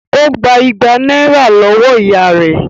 Ó gba ìgbà náírà lọ́wọ́ ìyá rẹ̀